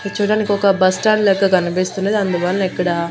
ఇది చూడానికి ఒక బస్టాండ్ లెక్క కనిపిస్తున్నది అందువల్ల ఇక్కడ--